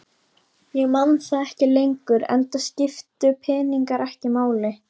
Ég man það ekki lengur enda skiptu peningar ekki máli.